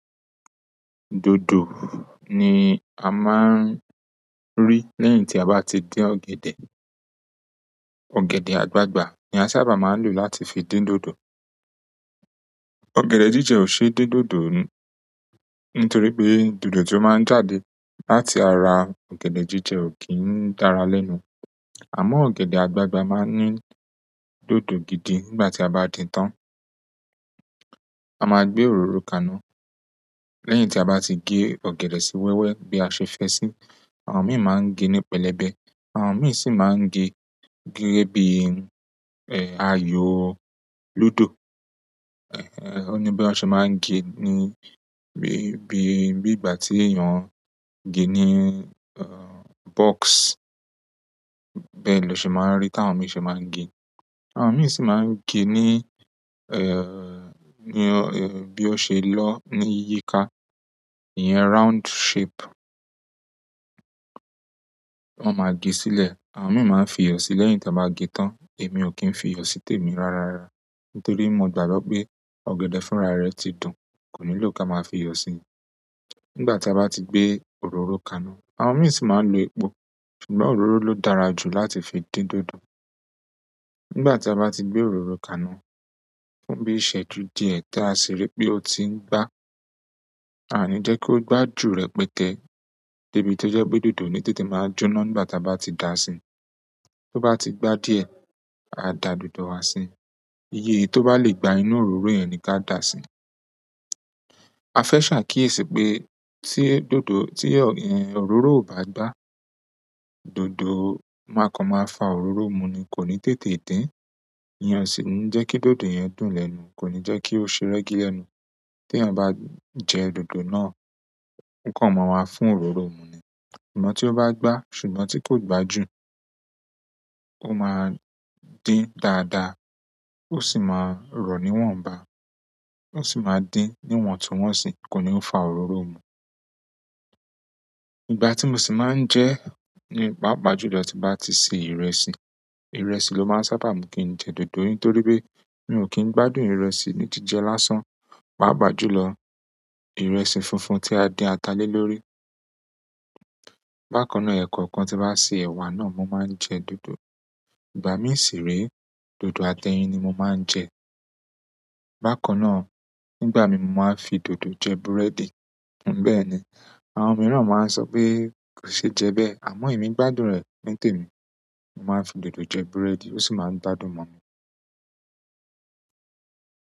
Dodo ni a máa ń rí lẹ́yìn tí a bá ti dín ọ̀gẹ̀dẹ̀. Ọ̀gẹ̀dẹ̀ àgbagbà ni a sábà máa ń lò láti fi dín dòdò. Ọ̀gẹ̀dẹ̀ jíjẹ ò ṣe é dín dòdò nítorí pé dòdò tí ó máa ń jáde láti ara ọ̀gẹ̀dẹ̀ jíjẹ ò kí ń dára lẹ́nu. Àmọ́ ọ̀gẹ̀dẹ̀ àgbagbà máa ń ní dòdò gidi nígbà tí a bá dín tán. A máa gbé òróró kaná lẹ́yìn tí a bá ti gé ọ̀gẹ̀dẹ̀ sí wẹ́wẹ́ bí a ṣe fẹ́ sí. Àwọn mìí máa ń gé ní pẹlẹbẹ, àwọn mìí sì máa ń gé gẹ́gẹ́ bí, ẹ, ayò lúdò. Ẹ̀, ó ní bí wọ́n ṣe máa ń gé ní bí, bí, bí ìgbà tí èèyàn ń gé ní, ẹ, box. Bẹ́ẹ̀ lọ ṣe máa ń rí tí àwọn mìí ṣe máa ń gé. Àwọn mìí sì máa ń gé ní, ẹ́, ní ọ, bí ó ṣe lọ ní yíikà. Ìyẹn round shape. Wọ́n ma gé sílẹ̀. Àwọn mìíràn máa ń fi iyọ̀ sí lẹ́yìn tí wọ́n bá gé tán. Èmi ò kí ń fi iyọ̀ sí tèmi rárára nítorí mo gbàgbọ́ pé ọ̀gẹ̀dẹ̀ fúnra rẹ ti dùn, kò nílò kí a máa fi iyọ̀ sí i. Nígbà tí a bá ti gbé òróró kaná, àwọn mìíràn sì máa ń lo epo. Ṣùgbọ́n òróró ló dára jù láti fi dín dòdò. Nígbà tí a bá ti gbé òróró kaná, fún bí ìṣẹ́ju di ẹ tán a sì rí pé ó ti ń gbá. A ní jẹ́ kí ó gbá jù rẹpẹtẹ debi tí ó jẹ́ pé dòdò o ní tètè máa jóna nígbà tí a bá ti dà á sí. Tó bá ti gbá díẹ̀, a dà dòdò wa sí. Iye èyí tó bá lè gbá inú òróró yẹn ni ka dà á sí. A fẹ́ ṣàkíyèsí pé tí dòdò, tí è, ẹn òróró ò bá gbá, dòdò máa kan máa fa òróró mu ni, kò ní tètè dín. Ìyẹn o sì ńi jẹ́ kí dòdò yẹn dùn lẹ́nu, kò ní jẹ́ kí ó ṣe rẹ́gí lẹ́nu. Tí èèyàn bá jẹ dòdò náà, ó kan máa wá fún òróró mu ni. Ṣùgbọ́n tí ó bá gbá ṣùgbọ́n tí kò gbá jù, ó máa dín dáadáa, ó sì máa rọ̀ níwọ̀nba, ó sì máa dín níwọ̀ntúwọ̀nsì, kò ní fa òróró mu. Ìgbà tí mo sì máa ń jẹ ní pàápàá jù lọ tí bá ti ṣe ìrẹsì, ìrẹsì ló máa ń sábà mú kí n jẹ dòdò nítorí pé mí ò kí ń gbádùn ìrẹsì ní jíjẹ lásán. Pàápàá jù lọ, ìrẹsì funfun tí a dín ata lé lórí. Bákan náà, ẹ̀kọ̀kan tí bá ṣe ẹ̀wà náà, mo máa ń jẹ dòdò. Ìgbà mí sì re, dòdò àtẹyin ni mo máa ń jẹ. Bákan náà, nígbà mi mo máa ń fi dòdò jẹ búrẹ́dì. Òun bẹ́ẹ̀ ni. Àwọn mìíràn máa ń sọ pé kò ṣe é jẹ bẹ́ẹ̀ àmọ́ èmi gbádùn rẹ̀ nitè mi. Mo máa ń fi dòdò jẹ búrẹ́dì, ó sì máa ń gbádùn mọ́ mi.